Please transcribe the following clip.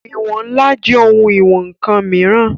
Ìwọ̀n ńlá jẹ́ ohun ìwọn ǹkan mìíràn